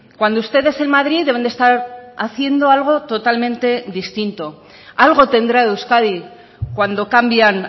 cuando ustedes en madrid deben de estar haciendo algo totalmente distinto algo tendrá euskadi cuando cambian